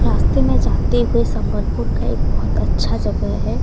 रास्ते में जाते हुए संबलपुर का एक बहोत अच्छा जगह है।